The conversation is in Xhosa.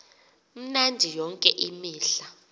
mnandi yonke imihla